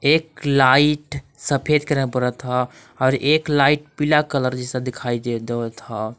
एक लाइट सफेद कलर बरत हय और एक लाइट पिला कलर जाइसा दिखाई दे देवत ह।